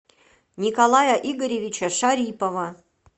николая игоревича шарипова